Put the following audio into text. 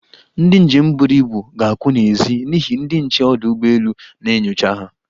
Ndị njem buru ibu ga-akwụ n'ezi n'ihi ndị nche ọdụ ugbọelu na-enyocha ha.